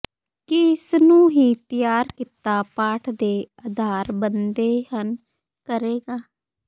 ਕੀ ਇਸ ਨੂੰ ਹੀ ਤਿਆਰ ਕੀਤਾ ਪਾਠ ਦੇ ਆਧਾਰ ਬਣਦੇ ਹਨ ਕਰੇਗਾ